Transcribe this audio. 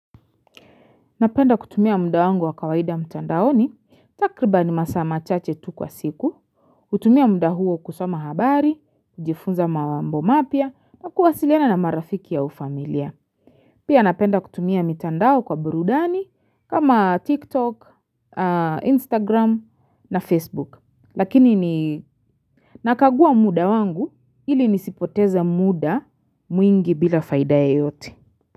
Napenda kutumia mda wangu wa kawaida mtandaoni, takriba ni masaa machache tu kwa siku, utumia mda huo kusama habari, kujifunza mambo mapya, na kuwasiliana na marafiki au familia. Pia napenda kutumia mitandao kwa burudani, kama TikTok, Instagram na Facebook. Lakini ni nakagua muda wangu, ili nisipoteza muda mwingi bila faida yeyote.